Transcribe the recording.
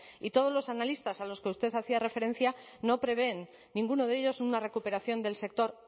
y todos los analistas a los que usted hacía referencia no prevén ninguno de ellos una recuperación del sector